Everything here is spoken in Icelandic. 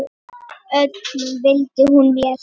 Öllum vildi hún vel.